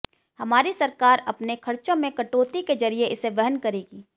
हमारी सरकार अपने खर्चों में कटौती के जरिए इसे वहन करेगी